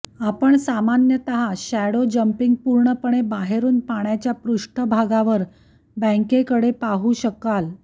आपण सामान्यतः shadow jumping पूर्णपणे बाहेरून पाण्याच्या पृष्ठभागावर बँकेकडे पाहू शकाल